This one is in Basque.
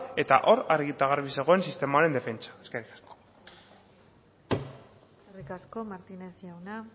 eta hor argi eta garbi zegoen sistemaren defentsa eskerrik asko eskerrik asko martinez jauna